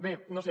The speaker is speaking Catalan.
bé no ho sé